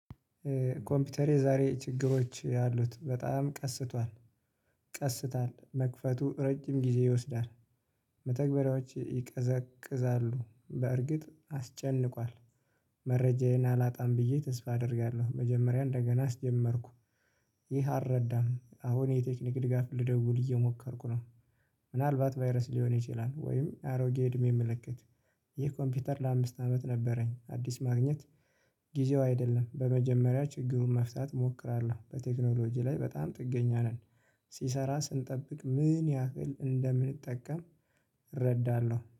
ኮምፒውተሬ ዛሬ ችግሮች አሉት በጣም ቀስቷል ቀስታል መክፈቱ ረጅም ጊዜ ይወስዳል። መተግበሪያዎቼ ይቀዘቅዛሉ። በእርግጥ አስጨንቋል መረጃዬን አላጣም ብዬ ተስፋ አደርጋለሁ። መጀመሪያ እንደገና አስጀመርኩ። ይህ አልረዳም። አሁን የቴክኒክ ድጋፍ ልደውል እየሞከርኩ ነው። ምናልባት 'ቫይረስ' ሊሆን ይችላል። ወይም አሮጌ እድሜ ምልክት ይህ ኮምፒውተር ለአምስት አመት ነበረኝ። አዲስ ማግኘት ጊዜው አይደለም። በመጀመሪያ ችግሩን መፍታት እሞክራለሁ። በቴክኖሎጂ ላይ በጣም ጥገኛ ነን። ሲሰራ ስንጠብቅ ምን ያህል እንደምንጠቀም እረዳለሁ።